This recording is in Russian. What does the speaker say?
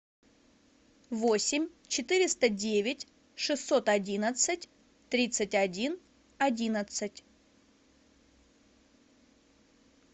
восемь четыреста девять шестьсот одиннадцать тридцать один одиннадцать